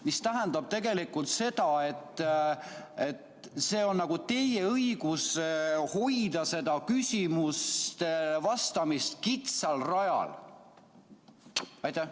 " See tähendab tegelikult seda, et teie õigus on hoida küsimustele vastamist kitsal rajal.